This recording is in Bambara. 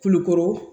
Kulukoro